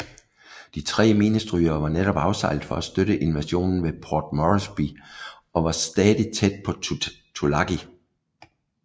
De tre minestrygere var netop afsejlet for at støtte invasionen ved Port Moresby og var stadig nærTulagi